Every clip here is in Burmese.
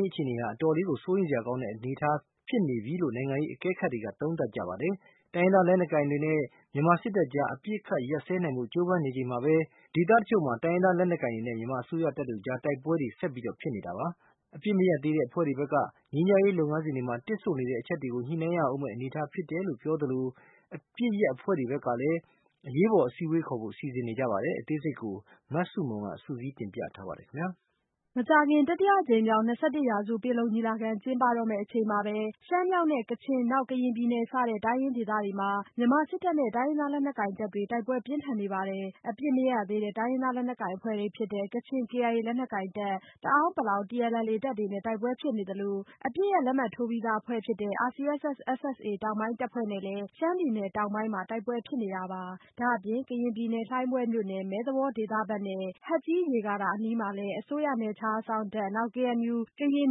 ရေး အခြေအနေဟာ အတော်လေးကို စိုးရိမ်စရာကောင်းတဲ့ အနေအထားဖြစ်နေပြီလို့ နိုင်ငံရေး အကဲခတ်တွေက သုံးသပ်ပါတယ်။ တိုင်းရင်းသားလက်နက်ကိုင်တွေနဲ့ မြန်မာစစ်တပ်ကြား အပစ်ရပ်စဲနိုင်ဖို့ ဖော်ဆောင်နေချိန်မှာပဲ တိုင်းရင်းဒေသအချို့မှာ တိုင်းရင်းသား လက်နက်ကိုင်တွေနဲ့ မြန်မာ အစိုးရတပ်တို့ကြား တိုက်ပွဲတွေ ဆက်တိုက်ဖြစ်နေတာပါ။ အပစ်မရပ်ရသေးတဲ့ အဖွဲ့တွေ ဘက်က ငြိမ်းချမ်းရေးလုပ်ငန်းစဉ်တွေမှာ တစ်ဆို့နေတဲ့အချက်တွေကို ညှိနှိုင်းရဦးမယ့် အနေအထား ဖြစ်တယ်လို့ပြောသလို အပစ်ရပ်အဖွဲ့တွေဘက်ကလည်း အရေးပေါ် အစည်းအဝေးခေါ်ဖို့ စီစဉ်နေပါတယ်။ အသေးစိတ် မဆုမွန် စုစည်းတင်ပြထားပါတယ်။ မကြာခင် တတိယအကြိမ်မြောက် ၂၁ရာစု ပင်လုံညီလာခံ ကျင်းပတော့မယ့်အချိန်မှာပဲ ရှမ်းမြောက်နဲ့ ကချင် နောက် ကရင်ပြည်နယ်စတဲ့ တိုင်းရင်းဒေသတွေမှာ မြန်မာစစ်တပ်နဲ့ တိုင်းရင်းသားလက်နက်ကိုင်တပ်တွေနဲ့ တိုက်ပွဲပြင်းထန်နေပါတယ်။ အပစ်မရပ်ရသေးတဲ့ တိုင်းရင်းသားလက်နက်ကိုင်အဖွဲ့တွေဖြစ်တဲ့ ကချင် KIA လက်နက်ကိုင်တပ်၊ တအာင်းပလောင်တပ်တွေနဲ့ တိုက်ပွဲတွေဖြစ်နေသလို အပစ်ရပ်လက်မှတ်ထိုးပြီးသားအဖွဲ့ဖြစ်တဲ့ RCSS-SSA တောင်ပိုင်းတပ်ဖွဲ့တွေနဲ့လည်း ရှမ်းပြည်နယ်တောင်ပိုင်း လွယ်လင်နဲ့ မိုင်းပျဉ်းမြို့နယ်တွေအတွင်းမှာ တိုက်ပွဲဖြစ်နေပါတယ်။ ဒါ့အပြင် ကရင်ပြည်နယ်၊ လှိုင်းဘွဲ့မြို့နယ် မဲသဝေါဒေသဘက်နဲ့ ဟတ်ကြီး ရေကာတာအနီးမှာ အစိုးရရဲ့ နယ်ခြားစောင့်တပ် BGF တပ်၊ KNU ကရင်အ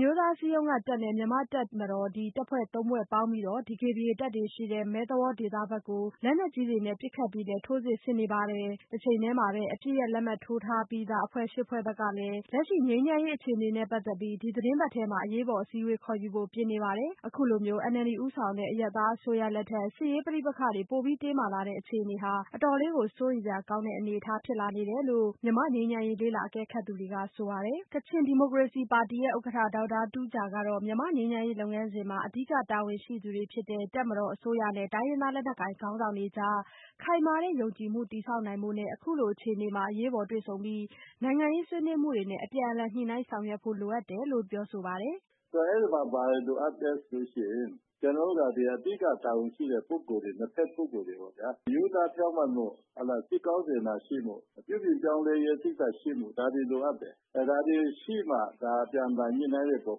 မျိုးသားအစည်းအရုံးကတပ် နဲ့ မြန်မာတပ်မတော်တို့ ၃ဖွဲ့ပူးပေါင်းပြီး တပ်တွေ ရှိတဲ့ မဲသဝေါဒေသကို လက်နက် ကြီးနဲ့ ပစ်ခတ်ပြီး ထိုးစစ်ဆင်နေပါတယ်။ တချိန်တည်းမှာပဲ အပစ်ရပ်လက်မှတ်ထိုးထားပြီးသား အဖွဲ့ ဖွဲ့ဘက်ကလည်း လက်ရှိ ငြိမ်းချမ်းရေး အခြေအနေနဲ့ပတ်သက်ပြီး ဒီသီတင်းပတ်ထဲမှာပဲ အရေးပေါ်အစည်းအဝေးခေါ်ယူဖို့ပြင်နေပါတယ်။ အခုလို NLD ဦးဆောင်တဲ့ အရပ်သားအစိုးရလက်ထက် စစ်ရေးပဋိပက္ခတွေ တင်းမာလာနေတဲ့အခြေအနေဟာ အတော်လေးကို စိုးရိမ်စရာကောင်းတဲ့ အနေအထားဖြစ်လာနေတယ်လို့ မြန်မာ့ငြိမ်းချမ်းရေးလေ့လာအကဲခတ်သူတွေကဆိုပါတယ်။ ကချင်ဒီမိုကရေစီပါတီရဲ့ ဥက္ကဋ္ဌ ဒေါက်တာတူးဂျာကတော့မြန်မာ့ငြိမ်းချမ်းရေးလုပ်ငန်းစဉ်မှာ အဓိက တာဝန်ရှိသူတွေဖြစ်တဲ့ တပ်မတော်၊ အစိုးရနဲ့ တိုင်းရင်းသားလက်နက်ကိုင်ခေါင်းဆောင်တွေကြား ခိုင်မာတဲ့ယုံကြည်မှုတည်ဆောက်နိုင်ဖို့နဲ့ အခုလိုအခြေအနေမှာ အရေးပေါ်တွေ့ဆုံပြီး နိုင်ငံရေးဆွေးနွေးမှုတွေနဲ့ အပြန်အလှန်ညှိနှိုင်းဆောင်ရွက်ဖို့လိုအပ်တယ်လို့ ပါတယ်။ "အဲဒီမှာ ဘာလိုအပ်သလဲဆိုရင် ကျနော်တို့က ဒါအဓိကတာဝန်ရှိတဲ့ ပုဂ္ဂိုလ်တွေ ၂ ဖက် ပုဂ္ဂိုလ်တွေ ပေ့ါဗျာ ရိုးသားဖြောင့်မတ်မှု ၊ စိတ်ကောင်းစေတနာရှိမှု ပြုပြင်ပြောင်းလဲရေး စိတ်ဓါတ်ရှိမှု ဒါတွေလိုအပ်တယ်။ ဒါတွေရှိမှသာ အပြန်အလှန်ညှိနှိုင်းတဲ့အပေါ်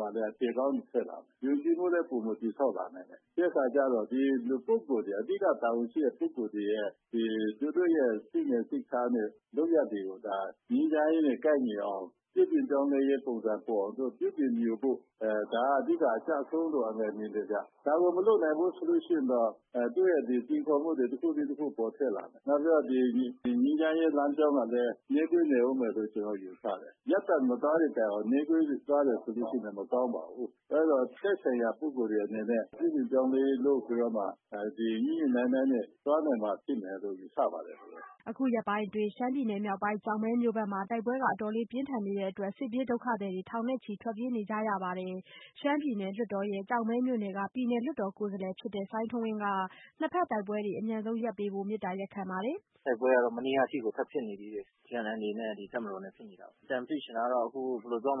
မှာလည်း အဖြေကောင်းတွေထွက်လာမယ်။ ယုံကြည်မှုလည်း ပိုမိုတည်ဆောက်လာနိုင်တယ် ပြီးတဲ့အခါကျတော့ ဒီလူ ပုဂ္ဂိုလ်တွေ အဓိကတာဝန်ရှိတဲ့ ပုဂ္ဂိုလ်တွေက သူတို့ရဲ့ စိတ်နေစိတ်ထားတွေ၊ လုပ်ရပ်တွေကို ငြိမ်းချမ်းရေးနဲ့ ကိုက်ညီအောင် ၊ ပြုပြင်ပြောင်းလဲရေး ပုံစံပေါ်အောင် ပြုပြင်ဖို့ ဒါကအဓိကအကျဆုံးလို့ မြင်တယ်ခင်ဗျ။ ဒါကိုမလုပ်နိုင်ဘူးဆိုရင်တော့ သူ့ရဲ့စိန်ခေါ်မှုတွေ တခုပြီးတခု ပေါ်ထွက်လာမယ် နောက်ပြီးတော့ ငြိမ်းချမ်းရေးလမ်းကြောင်းကလည်း နှေးကွေးနေဦးမယ်လို့ ကျနော်ယူဆတယ်။ ရပ်တန့်မသွားသည့်တိုင်အောင်နှေးကွေးသွားတယ်ဆိုရင်လည်း မကောင်းပါဘူး။ အဲဒီတော့ သက်ဆိုင်ရာ ပုဂ္ဂိုလ်တွေအနေနဲ့ ပြုပြင်ပြောင်းလဲရေးတွေလုပ်ပြီးတော့ ညှိညှိနှိုင်းနှိုင်းလုပ်မှ သွားနိုင်မယ်လို့ ယူဆပါတယ်။" အခုရက်ပိုင်းအတွင်း ရှမ်းပြည်နယ်မြောက်ပိုင်းဘက် ကျောက်မဲ မြို့နယ်အတွင်း တိုက်ပွဲတွေက အတော်လေးပြင်းထန်နေတဲ့အတွက် စစ်ပြေးဒုက္ခသည်ထောင်နဲ့ချီ ထွက်ပြေးနေကြရပါတယ်။ ရှမ်းပြည်နယ်လွှတ်တော်ရဲ့ ကျောက်မဲမြို့နယ်က ပြည်နယ် လွှတ်တော်ကိုယ်စားလှယ်ဖြစ်တဲ့ စိုင်းထွန်းဝင်းက နှစ်ဘက်တိုက်ပွဲတွေအမြန်ဆုံးရပ်ပေးဖို့ မေတ္တာရပ်ခံပါတယ်။ "တိုက်ပွဲကတော့ မနေကထိကို ထပ်ဖြစ်နေသေးတယ်။ TNLAတွေနဲ့ တပ်မတော်နဲ့ ဖြစ်နေတာပေါ့ အကြံပြုချင်တာကတော့ ၂၁ ပင်လုံကျင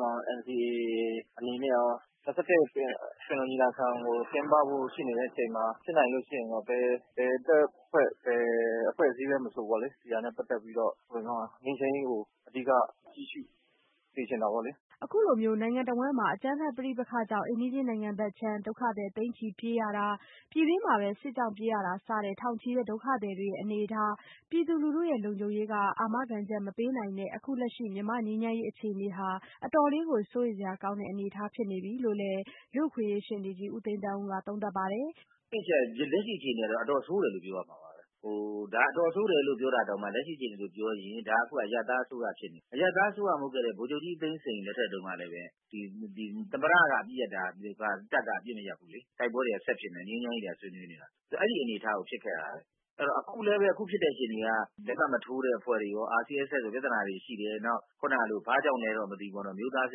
်းပဖို့ရှိနေတဲ့အချိန်မှာ ဘယ်တပ်ဖွဲ့ အဖွဲ့အစည်းမဆိုပေါ့လေ ဒီဟာနဲ့ ပတ်သက်ပြီးတော့ ငြိမ်းချမ်းရေးကို အဓိက ကြည့်ရှုစေချင်တာပေါ့လေ။" အခုလို နိုင်ငံတဝှမ်းမှာ အကြမ်းဖက်ပဋိပက္ခကြောင့် အိမ်နီးချင်းနိုင်ငံဘက်ခြမ်း ဒုက္ခသည်တွေ သိန်းချီပြေးရတာ ပြည်တွင်းမှာပဲ စစ်ကြောင့်ပြေးရတာစတဲ့ ထောင်ချီတဲ့ ဒုက္ခသည်တွေရဲ့ အနေအထား၊ ပြည်သူလူထုရဲ့ လုံခြုံရေးက အာမခံချက်မပေးနိုင်တဲ့ အခုလက်ရှိမြန်မာ့ငြိမ်းချမ်းရေး အခြေအနေဟာ အတော်လေးကို စိုးရိမ်စရာကောင်းတဲ့အနေအထားဖြစ်နေပြီလည်း လူ့အခွင့်အရေးရှေ့နေကြီး ဦးသိန်းသန်းဦးက သုံးသပ်ပါတယ်။ "တစ်အချက် လက်ရှိအခြေအနေက တော်တော်ဆိုးတယ်လို့ ပြောရမှာပဲ။ ဒါအတော်ဆိုးတယ်လို့ ပြောတာတောင်မှ လက်ရှိအခြေအနေလို့ ပြောရင် ဒါအခုက အရပ်သားအစိုးရဖြစ်နေပြီ၊ အရပ်သားအစိုးရမဟုတ်တဲ့ ဗိုလ်ချုပ်ကြီးသိန်းစိန်လက်ထပ်တုန်းကလည်း သမ္မတက အပစ်ရပ်တယ် ၊ တပ်က အပစ်မရပ်ဘူးလေ။ တိုက်ပွဲတွေက ဆက်ဖြစ်နေတယ် ငြိမ်းချမ်းရေးတွေက ဆွေးနွေးနေတယ် အဲဒီအနေအထားကို ဖြစ်ခဲ့တာ။ အခုလည်း ဖြစ်တဲ့အခြေအနေတွေက လက်မှတ်မထိုးတဲ့ အဖွဲ့တွေရော RCSS တွေနဲ့လည်း ပြဿနာတွေရှိတယ်။ ဘာကြောင့်လဲလို့တော့မသိဘူးပေါ့နော် အမျိုးသားအဆ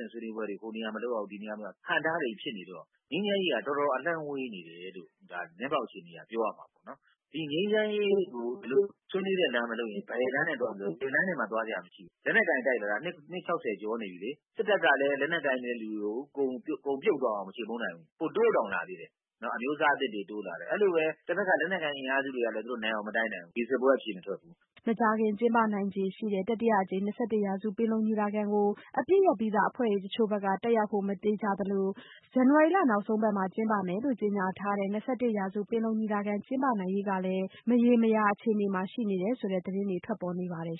င့်ဆွေးနွေးပွဲတွေ ဟိုနေရာမလုပ်ရဘူး ဒီအဟန့်အတားတွေဖြစ်နေတော့ ငြိမ်းချမ်းရေးက တော်တော်အလှမ်းဝေးနေတယ်လို့ လက်ရှိအခြေအနေအရ ပြောရမှာပေါ့နော်။ ဒီငြိမ်းချမ်းရေးကို ဆွေးနွေးတဲ့လမ်းမှ မလုပ်ရင် ဘယ်လမ်းနဲ့မှ သွားစရာမရှိဘူး။ လက်နက်ကိုင်တိုက်လာတာ နှစ် ၆၀ ကျော်နေပြီလေ။ စစ်တပ်ကလည်း လက်နက်ကိုင်တဲ့လူကို အကုန်ပြုတ်အောင်မချေမှုန်းနိုင်ဘူး။ ပိုတိုးတောင်လာသေးတယ်။ အဲလိုပဲ တဖက်က လက်နက်ကိုင်အင်အားစုတွေလည်း သူတို့ နိုင်အောင်မတိုက်နိုင်ဘူး ဒီစစ်ပွဲအဖြေမထွက်ဘူး။" မကြာခင်ကျင်းပနိုင်ခြေရှိတဲ့ တတိယအကြိမ် ၂၁ရာစုပင်လုံညီလာခံကို အပစ်ရပ်ပြီးသားအဖွဲ့တချို့ဘက်က တက်ရောက်ဖို့ မသေချာတော့သလို ဇန်နဝါရီလ နောက်ဆုံးပတ်မှာ ကျင်းပမယ်လို့ကြေညာထားတဲ့ ၂၁ရာစုပင်လုံညီလာခံကျင်းပနိုင်ရေးကလည်း မရေမရာအခြေအနေမှာရှိနေတယ်ဆိုတဲ့သတင်းတွေထွက်ပေါ်နေပါတယ်